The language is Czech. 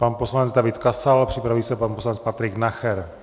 Pan poslanec David Kasal, připraví se pan poslanec Patrik Nacher.